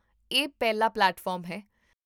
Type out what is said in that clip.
ਇਹ ਪਹਿਲਾ ਪਲੇਟਫਾਰਮ ਹੈ